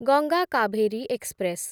Ganga Kaveri express